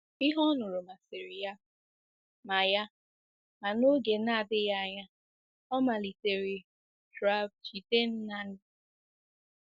Ihe ọ nụrụ masịrị ya, ma ya, ma n'oge na-adịghị anya ọ malitere travJidennang.